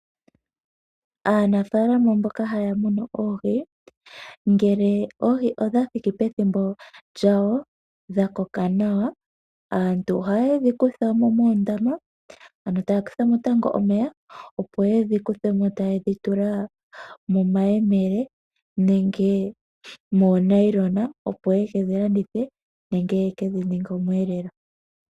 Aanafaalama mboka haya munu oohi, ngele oohi odha thiki pethimbo lyawo, dha koka nawa, aantu ohaye dhi kuthamo moondama, opo yedhi kuthemo taya tula momayemele nenge miifwagafwaga, opo yaka landithe nenge ya ninge osheelelwa.